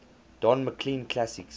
don mclean classics